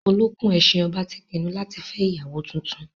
Olókùn-ẹṣin ọba ti pinnu láti fẹ́ ìyàwó tuntun.